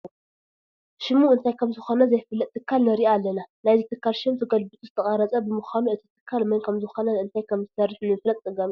ሽሙ እንታይ ከምዝኾነ ዘይፍለጥ ትካል ንርኢ ኣለና፡፡ ናይዚ ትካል ሽም ተገልቢጡ ዝተቐረፀ ብምዃኑ እቲ ትካል መን ከምዝኾነን እንታይ ከምዝሰርሕን ንምፍላጥ ኣፀጋሚ እዩ፡፡